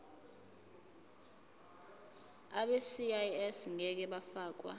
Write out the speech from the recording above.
abegcis ngeke bafakwa